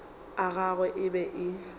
a gagwe e be e